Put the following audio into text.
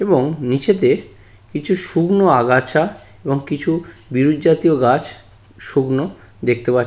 এবং নীচেতে কিছু শুকনো আগাছা এবং কিছু বিরুৎ জাতীয় গাছ শুকনো দেখতে পাছ--